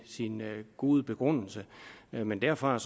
god begrundelse men derfra